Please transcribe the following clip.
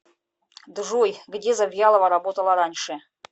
джой где завьялова работала раньше